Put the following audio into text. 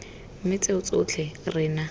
mme tseo tsotlhe re na